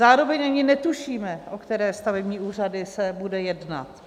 Zároveň ani netušíme, o které stavební úřady se bude jednat.